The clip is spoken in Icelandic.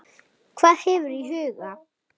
Hvað hefur þú í huga?